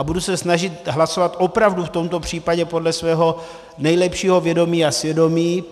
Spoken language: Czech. A budu se snažit hlasovat opravdu v tomto případě podle svého nejlepšího vědomí a svědomí.